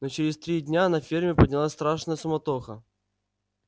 но через три дня на ферме поднялась страшная суматоха